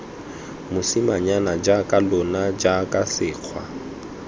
mosimanyana jaaka lona jaana sekgwa